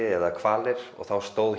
eða hvali og þá stóð